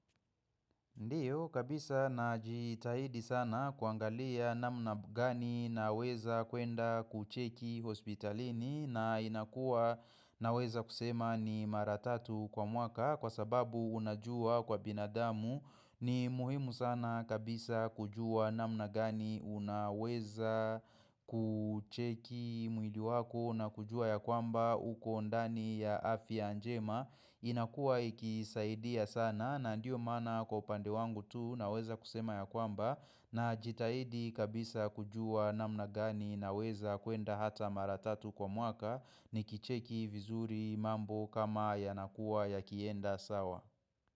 Ndiyo kabisa na jitahidi sana kuangalia namna gani naweza kuenda kucheki hospitalini na inakua na weza kusema ni maratatu kwa mwaka kwa sababu unajua kwa binadamu ni muhimu sana kabisa kujua namna gani unaweza kucheki mwili wako na kujua ya kwamba uko ndani ya afi anjema inakua ikisaidia sana na ndiyo mana kwa upande wangu tu naweza kusema ya kwamba na jitahidi kabisa kujua namna gani naweza kuenda hata maratatu kwa mwaka ni kicheki vizuri mambo kama yanakua yakienda sawa.